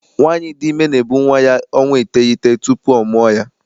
Nwaanyi dị ime na-ebu nwa ya ọnwa iteghete tupu ọ mụọ ya.